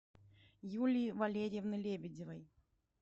юлии валерьевны лебедевой